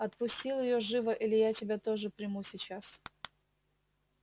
отпустил её живо или я тебя тоже приму сейчас